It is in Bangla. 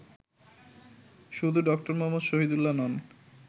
শুধু ড. মুহম্মদ শহীদুল্লাহ্ নন